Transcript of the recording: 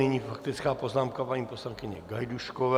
Nyní faktická poznámka paní poslankyně Gajdůškové.